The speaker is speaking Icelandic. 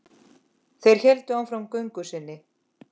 Þeir héldu áfram göngu sinni.